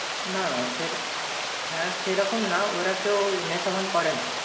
না, না, সে হ্যাঁ, সেরকম না ওরা কেউ নেশা ভান করে না।